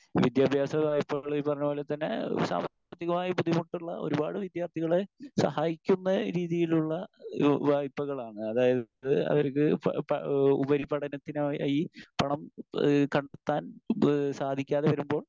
Speaker 1 വിദ്യാഭ്യാസ വായ്പകൾ ഈ പറഞ്ഞ പോലെ തന്നെ സാമ്പത്തികമായി ബുദ്ധിമുട്ടുള്ള ഒരുപാട് വിദ്യാർഥികളെ സഹായിക്കുന്ന രീതിയിലുള്ള ഒരു വായ്പകളാണ്. അതായത് അവർക്ക് പ പ ഉപരിപഠനത്തിനായി പണം ഏഹ് കണ്ടെത്താൻ സാധിക്കാതെ വരുമ്പോൾ